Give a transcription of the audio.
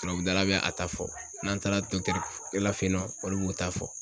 Tubabu dala be a ta fɔ, n'an taara la fe yen nɔ olu b'u ta fɔ.